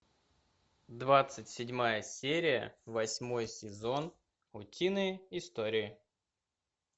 двадцать седьмая серия восьмой сезон утиные истории